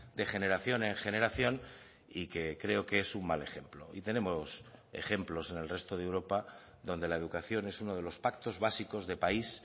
de generación en generación y que creo que es un mal ejemplo y tenemos ejemplos en el resto de europa donde la educación es uno de los pactos básicos de país